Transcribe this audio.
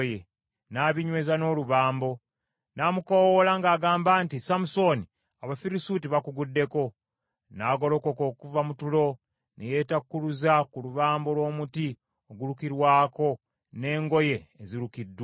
n’abinyweza n’olubambo. N’amukoowoola ng’agamba nti, “Samusooni Abafirisuuti bakuguddeko.” N’agolokoka okuva mu tulo, ne yeetakkuluza ku lubambo lw’omuti ogulukirwako n’engoye ezirukiddwa.